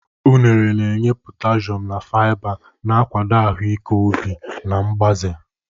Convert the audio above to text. Unere na-enye potassium na fiber, na-akwado ahụike obi na mgbaze.